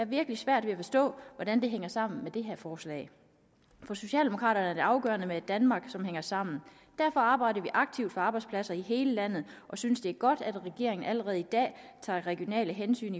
virkelig svært ved at forstå hvordan det hænger sammen med det her forslag for socialdemokraterne er det afgørende med et danmark der hænger sammen derfor arbejder vi aktivt på arbejdspladser i hele landet vi synes det er godt at regeringen allerede i dag tager regionale hensyn